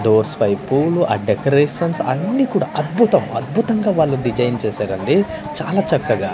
Doors వైపు పూలు ఆ డెకరేషన్స్ అన్ని కూడా అద్భుతం అద్భుతంగా వాళ్ళు డిజైన్ చేశారండి చాలా చక్కగా.